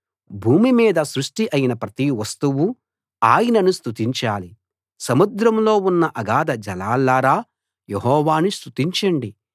భూమి మీద సృష్టి అయిన ప్రతి వస్తువూ ఆయనను స్తుతించాలి సముద్రంలో ఉన్న అగాధజలాల్లారా యెహోవాను స్తుతించండి